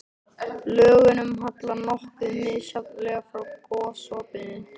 Lögunum hallar nokkuð misjafnlega frá gosopinu.